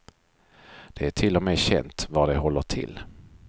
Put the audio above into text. Det är till och med känt var de håller till.